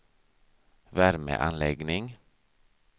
värmeanläggning